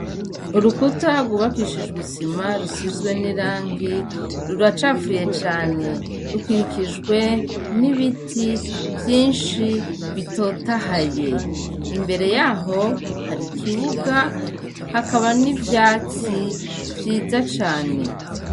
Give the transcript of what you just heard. Urukuta agubakishijwe isima rusizwe n'iranki ruracapfuye cane rukwikijwe n'ibiti vyinshi bitotahaye imbere yaho hari ikibuga hakaba n'ivyatsi vyiza cane.